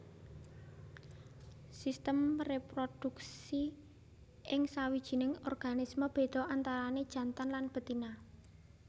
Sistem réproduksi ing sawijining organisme béda antarané jantan lan betina